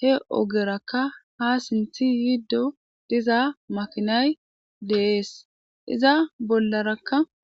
he ogerakka ha sinthi yiddo diza makinay de'ees iza bollarakka